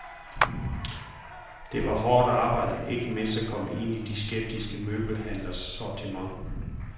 Det var hårdt arbejde, ikke mindst at komme ind i de skeptiske møbelhandleres sortiment.